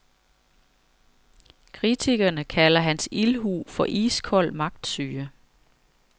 Kritikerne kalder hans ildhu for iskold magtsyge.